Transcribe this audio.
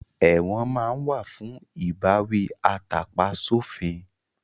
Ẹ̀wọ̀n máa ń wà fún ìbáwí atàpa sófin